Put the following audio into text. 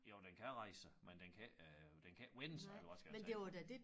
Jo den kan rejse sig men den kan ikke øh den kan ikke vende sig eller hvad skal jeg sige